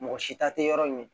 Mɔgɔ si ta te yɔrɔ min na